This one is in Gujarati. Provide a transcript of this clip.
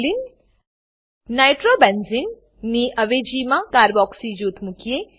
ચાલો નાઇટ્રોબેન્ઝને નાઈટ્રોબેન્ઝીન ની અવેજીમાં કાર્બોક્સી કાર્બોક્સી જૂથ મુકીએ